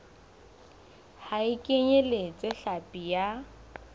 ha e kenyeletse hlapi ya